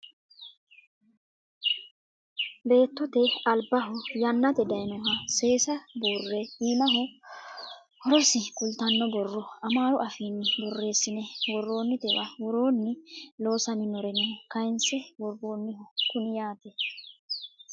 beettote albaho yannate dayiinoha seesa buurre iimaho horosi kultanno borro amaaru afiinni borreesine worroonitewa woroonni loosaminoreno kayiinse worroonniho kuni yaate